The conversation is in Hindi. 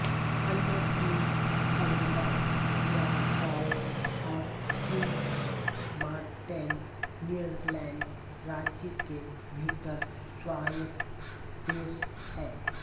अन्य तीन अरूबा कुराकाओ और सिंट मार्टेन नीदरलैंड राज्य के भीतर स्वायत्त देश हैं